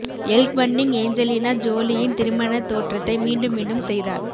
L Fanning Angelina ஜோலியின் திருமணத் தோற்றத்தை மீண்டும் மீண்டும் செய்தார்